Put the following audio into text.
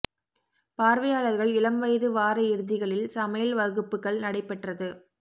பார்வையாளர்கள் இளம் வயது வார இறுதிகளில் சமையல் வகுப்புகள் நடைபெற்றது